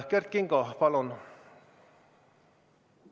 Kert Kingo, palun!